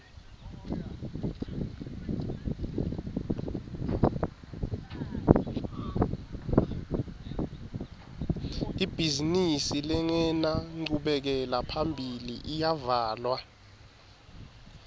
ibhizimisi lengenanchubekela phambili iyavalwa